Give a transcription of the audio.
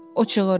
O çığırdı.